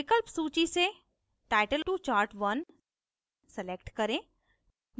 विकल्प सूची से title to chart1 select करें